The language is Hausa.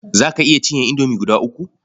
Za ka iya cinye indomie guda uku?